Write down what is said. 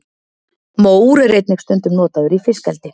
mór er einnig stundum notaður í fiskeldi